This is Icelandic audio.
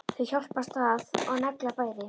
Þau hjálpast að og negla bæði.